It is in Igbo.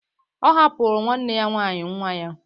Ọ hapụrụ nwanne ya nwaanyị nwa ya.